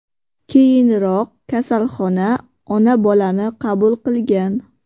Keyinroq kasalxona ona-bolani qabul qilgan.